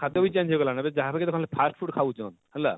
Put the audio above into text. ଖାଦ୍ୟ ବି change ହେଇ ଗଲାନ ଏଭେ ଯାହା କେ ଦେଖଲେ ଖାଲି firstfood ଖାଉଛନ ହେଲା,